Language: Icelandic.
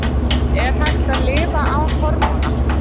Er hægt að lifa án hormóna?